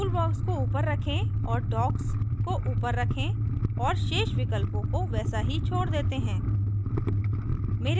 tool docks को ऊपर रखें और docks को ऊपर रखें और शेष विकल्पों को वैसा ही छोड़ देते हैं